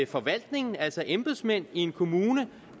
forvaltningen altså embedsmænd i en kommune